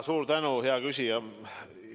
Suur tänu, hea küsija!